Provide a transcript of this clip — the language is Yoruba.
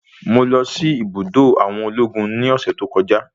Mo lọ sí ibùdó àwọn ológun ní ọ̀sẹ̀ tí kọjá.